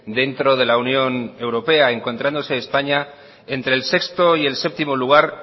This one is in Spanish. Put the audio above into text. dentro de la unión europea encontrándose españa entre el sexto y séptimo lugar